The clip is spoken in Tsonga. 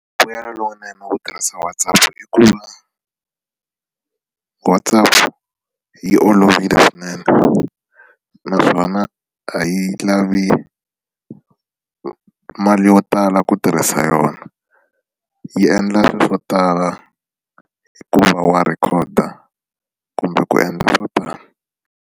Mbuyelo lowunene wo tirhisa WhatsApp i ku va WhatsApp yi olovile swinene naswona a yi lavi ku mali yo tala ku tirhisa yona yi endla swilo swo tala hikuva wa record kumbe ku endla swo tala.